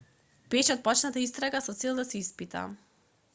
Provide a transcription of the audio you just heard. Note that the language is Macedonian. беше отпочната истрага со цел да се испита